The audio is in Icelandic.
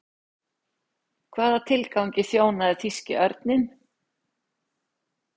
Hvaða tilgangi þjónaði þýski örninn?